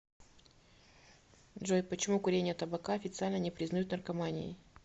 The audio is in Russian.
джой почему курение табака официально не признают наркоманией